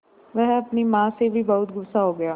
वह अपनी माँ से भी बहुत गु़स्सा हो गया